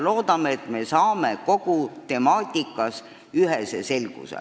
Loodetavasti jõuame kogu temaatikas ühesele selgusele.